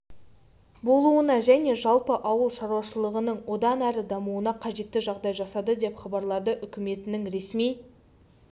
болуына және жалпы ауыл шаруашылығының одан әрі дамуына қажетті жағдай жасады деп хабарлады үкіметінің ресми